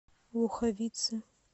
луховицы